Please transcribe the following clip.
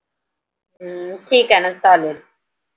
ठीक आहे ना चालेल